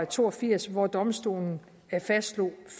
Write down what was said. to og firs hvor domstolen fastslog